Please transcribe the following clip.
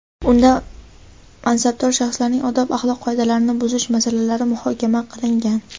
unda mansabdor shaxslarning odob-axloq qoidalarini buzish masalalari muhokama qilingan.